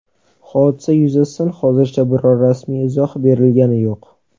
Hodisa yuzasidan hozircha biror rasmiy izoh berilgani yo‘q.